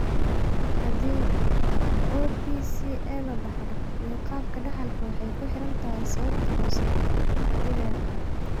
Haddii OPCA la dhaxlo (iyo qaabka dhaxalka) waxay ku xiran tahay sababta hoose, haddii la yaqaan.